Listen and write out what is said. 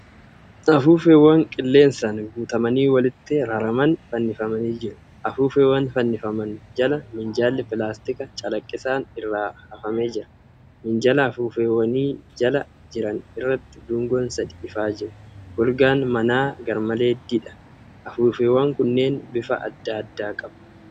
Afuuffeewwan qileensaan guutamanii walitti raraman fannifamanii jiru. Afuuffeewwan fannifaman jala minjaalli pilaastika calaqqisaan irra hafamee jira. Minjaala afuuffeewwan jala jiran irratti dungoon sadii ifaa jiru. Golgaan manaa garmalee diidha. Afuuffeewwan kunneen bifa adda addaa qaba.